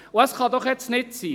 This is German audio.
Das kann doch jetzt nicht sein: